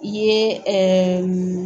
Ye ɛɛ